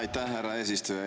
Aitäh, härra eesistuja!